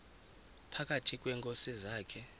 phakathi kweenkosi zakhe